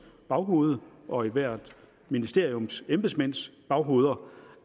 baghoved og i ethvert ministeriums embedsmænds baghoveder